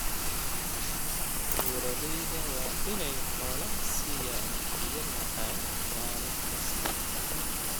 Beeralayda waa inay xoolahooda siiyaan biyo macaan maalin kasta.